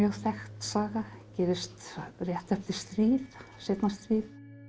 þekkt saga gerist rétt eftir stríð seinna stríð